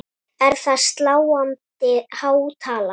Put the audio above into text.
Er það sláandi há tala.